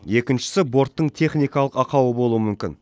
екіншісі борттың техникалық ақауы болуы мүмкін